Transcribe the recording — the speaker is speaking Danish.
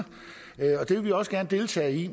vi også gerne deltage i